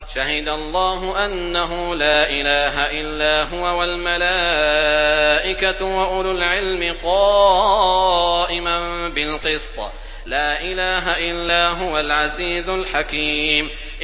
شَهِدَ اللَّهُ أَنَّهُ لَا إِلَٰهَ إِلَّا هُوَ وَالْمَلَائِكَةُ وَأُولُو الْعِلْمِ قَائِمًا بِالْقِسْطِ ۚ لَا إِلَٰهَ إِلَّا هُوَ الْعَزِيزُ الْحَكِيمُ